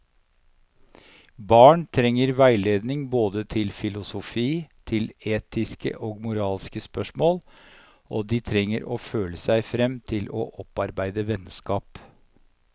Barn trenger veiledning både til filosofi, til etiske og moralske spørsmål, og de trenger å føle seg frem til å opparbeide vennskap.